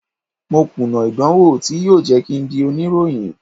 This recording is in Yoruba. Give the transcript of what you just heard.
Mo kùnà ìdánwò tí yóò jẹ́ kín ń di oníròyìn.